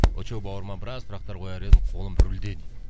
очоу бауырыма біраз сұрақтар кояр едім қолым рульде дейді